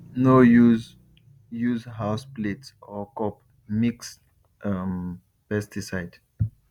no use use house plate or cup mix um pesticide